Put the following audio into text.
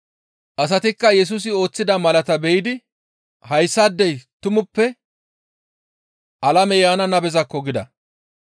Asatikka Yesusi ooththida malaataa be7idi, «Hayssaadey tumappe ha alame yaana nabezakko!» gida.